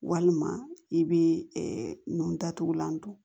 Walima i bɛ nun datugulan don